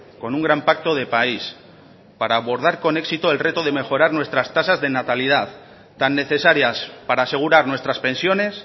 con un gran pacto de país para abordar con éxito el reto de mejorar nuestras tasas de natalidad tan necesarias para asegurar nuestras pensiones